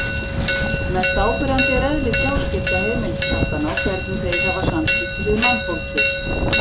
Mest áberandi er eðli tjáskipta heimiliskattanna og hvernig þeir hafa samskipti við mannfólkið.